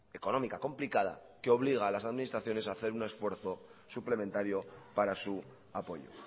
económica complicada que obliga a las administraciones a hacer un esfuerzo suplementario para su apoyo